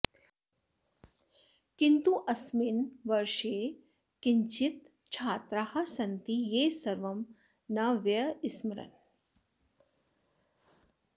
किन्तु अस्मिन् वर्षे किञ्चित् छात्राः सन्ति ये सर्वं न व्यस्मरन्